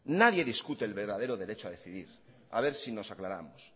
nadie discute el verdadero derecho a decidir a ver si nos aclaramos